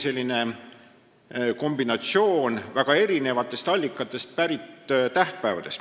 Tegu ongi kombinatsiooniga väga mitmel põhjusel peetavatest tähtpäevadest.